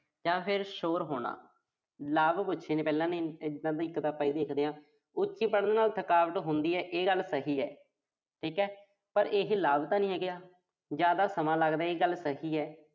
ਜਾਂ ਫਿਰ ਸ਼ੋਰ ਹੋਣਾ। ਲਾਭ ਪੁੱਛੇ ਨੇ ਪਹਿਲਾਂ। ਉੱਚੀ ਪੜ੍ਹਨ ਨਾਲ ਥਕਾਵਟ ਹੁੰਦੀ ਆ, ਇਹ ਗੱਲ ਸਹੀ ਆ। ਠੀਕ ਆ ਪਰ ਇਹੇ ਲਾਭ ਤਾਂ ਨੀ ਹੈਗਾ, ਜ਼ਿਆਦਾ ਸਮਾਂ ਲੱਗਦਾ, ਇਹ ਗੱਲ ਸਹੀ ਆ।